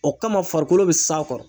O kama farikolo bɛ s'a kɔrɔ